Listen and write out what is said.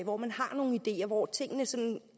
hvor man har nogle ideer hvor tingene